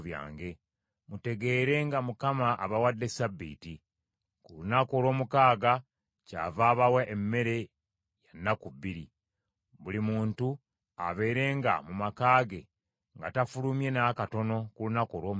Mutegeere nga Mukama abawadde Ssabbiiti; ku lunaku olw’omukaaga kyava abawa emmere ya nnaku bbiri. Buli muntu abeerenga mu maka ge nga tafulumye n’akatono ku lunaku olw’omusanvu.”